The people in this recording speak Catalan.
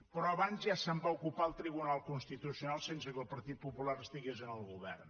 però abans ja se’n va ocupar el tribunal constitucional sense que el partit popular estigués en el govern